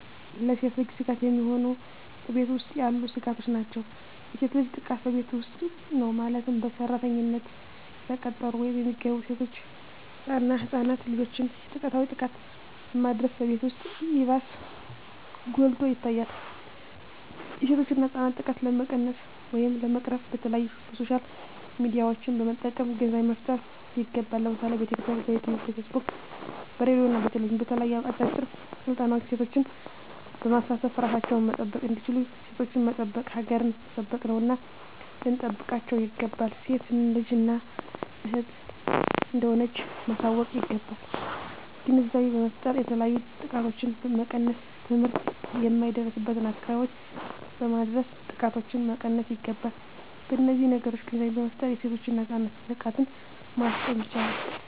ለሴት ልጅ ስጋት የሚሆኑ በቤት ውስጥ ያሉ ስጋቶች ናቸው። የሴት ልጅ ጥቃት በቤት ውስጥ ነው ማለትም በሰራተኝነት የተቀጠሩ ወይም የሚገቡ ሴቶች እና ህፃናት ልጆችን ፆታዊ ጥቃትን በማድረስ በቤት ውስጥ ይባስ ጎልቶ ይታያል የሴቶችና ህፃናት ጥቃት ለመቀነስ ወይም ለመቅረፍ በተለያዪ በሶሻል ሚዲያዎችን በመጠቀም ግንዛቤ መፍጠር ይገባል ለምሳሌ በቲክቶክ, በዩቲቪ , በፌስቡክ በሬድዬ እና በቴሌቪዥን በተለያዩ አጫጭር ስልጠናዎች ሴቶችን በማሳተፍ እራሳቸውን መጠበቅ እንዲችሉና ሴቶችን መጠበቅ ሀገርን መጠበቅ ነውና ልንጠብቃቸው ይገባል። ሴት ልጅ እናት እህት እንደሆነች ማሳወቅ ይገባል። ግንዛቤ በመፍጠር የተለያዩ ጥቃቶችን መቀነስ ትምህርት የማይደርስበትን አካባቢዎች በማድረስ ጥቃቶችን መቀነስ ይገባል። በነዚህ ነገሮች ግንዛቤ በመፍጠር የሴቶችና የህፃናት ጥቃትን ማስቆም ይቻላል።